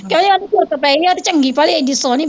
ਉਹ ਤੇ ਚੰਗੀ ਭਲੀ ਹੈਗੀ ਸੋਹਣੀ